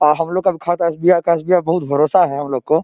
हमलोगो का खाता एस.बी.आई. का है एस.बी.आई. बहुत भरोसा है हमलोगो को--